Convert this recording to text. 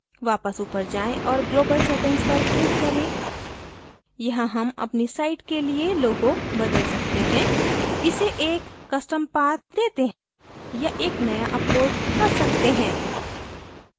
वापस ऊपर जाएँ और global settings पर click करें यहाँ हम अपनी site के लिए logo बदल सकते हैं इसे एक custom path देते या एक नया upload कर सकते हैं